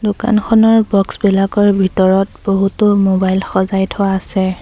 দোকানখনৰ বক্স বিলাকৰ ভিতৰত বহুতো মোবাইল সজাই থোৱা আছে।